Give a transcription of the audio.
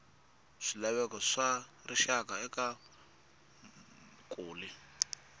swilaveko swa rixaka eka vumaki